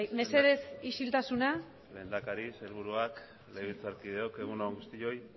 mesedez isiltasuna lehendakari sailburuak legebiltzarkideok egun on guztioi